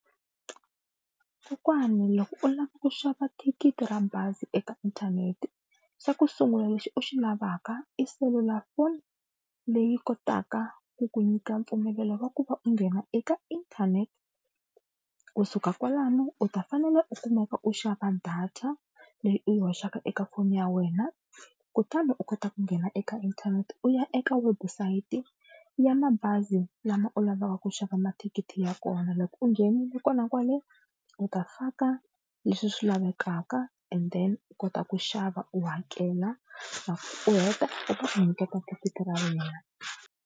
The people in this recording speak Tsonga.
Kokwani loko u lava ku xava thikithi ra bazi eka inthanete xa ku sungula lexi u xi lavaka i selulafoni leyi kotaka ku ku nyika mpfumelelo wa ku va u nghena eka inthanete, kusuka kwalano u ta fanele u kumeka u xava data leyi u yi hoxaka eka foni ya wena kutani u kota ku nghena eka inthanete u ya eka website ya mabazi lama u lavaka ku xava mathikithi ya kona. Loko u nghenile kona kwale u ta faka leswi swi lavekaka and then u kota ku xava u hakela u heta va ta ku nyiketa thikithi ra wena.